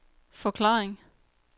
forklaring